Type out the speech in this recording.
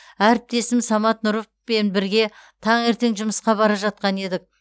әріптесім самат нұровпен бірге таңертең жұмысқа бара жатқан едік